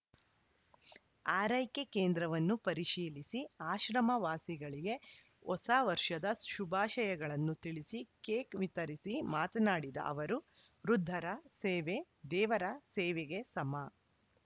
ಆರೈಕೆ ಕೇಂದ್ರವನ್ನು ಪರಿಶೀಲಿಸಿ ಆಶ್ರಮ ವಾಸಿಗಳಿಗೆ ಹೊಸವರ್ಷದ ಶುಭಾಶಯಗಳನ್ನು ತಿಳಿಸಿ ಕೇಕ್‌ ವಿತರಿಸಿ ಮಾತನಾಡಿದ ಅವರು ವೃದ್ಧರ ಸೇವೆ ದೇವರ ಸೇವೆಗೆ ಸಮ